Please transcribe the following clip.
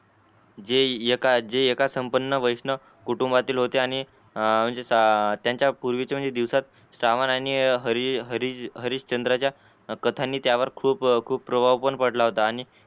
एका जे एका संपन्न वैष्णव कुटुंबातील होते आणि म्हणजे त्यांच्या पूर्वीचे दिवसा सामान आणि हरिश्चंद्राच्या तर त्यांनी त्यावर खूप प्रभाव पण पडला होता